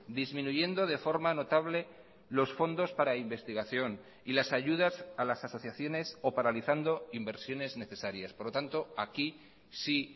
disminuyendo de forma notable los fondos para investigación y las ayudas a las asociaciones o paralizando inversiones necesarias por lo tanto aquí sí